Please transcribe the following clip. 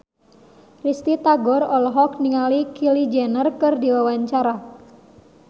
Risty Tagor olohok ningali Kylie Jenner keur diwawancara